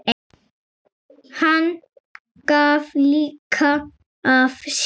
Hann gaf líka af sér.